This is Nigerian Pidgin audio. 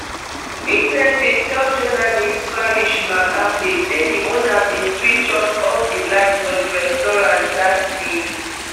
witnesses tell journalist farish magembe say di owner bin switch off off di light for di restaurant dat tin